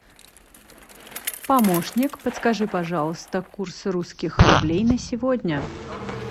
помощник подскажи пожалуйста курс русских рублей на сегодня